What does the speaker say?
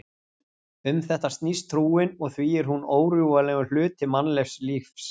Um þetta snýst trúin og því er hún órjúfanlegur hluti mannlegs lífs.